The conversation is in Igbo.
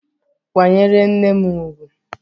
Kwa nyere nne m ugwu!